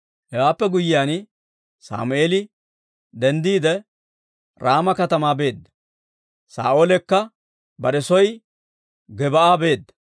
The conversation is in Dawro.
Hewaappe guyyiyaan, Sammeeli denddiide, Raama katamaa beedda; Saa'oolekka bare soo Gib'aa beedda.